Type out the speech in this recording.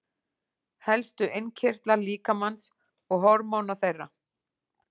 Helstu innkirtlar líkamans og hormón þeirra.